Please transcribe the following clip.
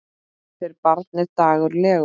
Þeirra barn er Dagur Leó.